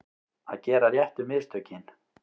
Að gera réttu mistökin